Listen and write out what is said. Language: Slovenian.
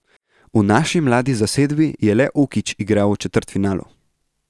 V naši mladi zasedbi je le Ukić igral v četrtfinalu.